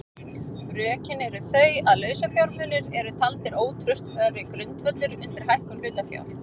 Rökin eru þau að lausafjármunir eru taldir ótraustari grundvöllur undir hækkun hlutafjár.